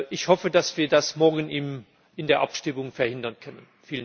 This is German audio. Ich hoffe, dass wir das morgen in der Abstimmung verhindern können.